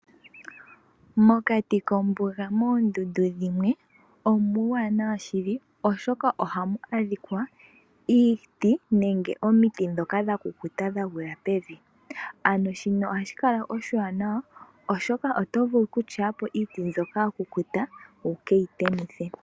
Mokati kombuga moondundu dhimwe omuuwanawa shili oshoka ohamu adhika iiti nenge omiti dhoka dhakukuta dhagwila pevi ano shino ohashi kala oshiwanawa oshoka ohovulu okukuthapo iiti mbyoka yakukuta wukeyi temithe.